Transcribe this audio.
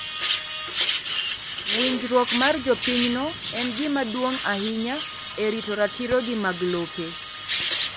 Winjruok mar jopinyno en gima duong’ ahinya e rito ratirogi mag lope.